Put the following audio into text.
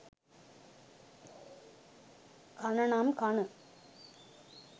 කන නම් කන